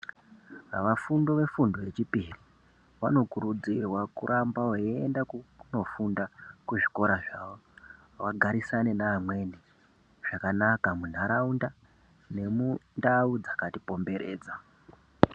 Vafundi yefundo yechipiri vanokurudzirwa kuramba veienda kunofunda kuzvikora zvawo vagarisane neamweni zvakanaka munharaunda nemundau dzaka tikomberadza.